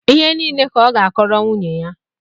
Ihe niile ka ọ ga-akọọrọ nwunye ya